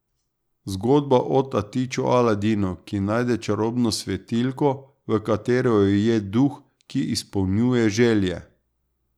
Zgodba o tatiču Aladinu, ki najde čarobno svetilko, v kateri je ujet duh, ki izpolnjuje želje.